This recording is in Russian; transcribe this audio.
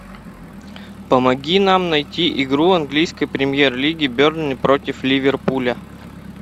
помоги нам найти игру английской премьер лиги бернли против ливерпуля